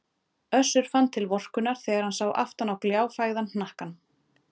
Össur fann til vorkunnar þegar hann sá aftan á gljáfægðan hnakkann.